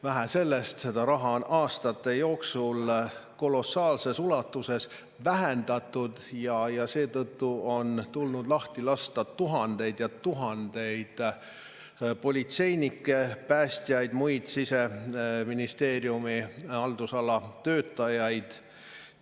Vähe sellest, seda raha on aastate jooksul kolossaalses ulatuses vähendatud ja seetõttu on tulnud lahti lasta tuhandeid ja tuhandeid politseinikke, päästjaid ja muid Siseministeeriumi haldusala töötajaid.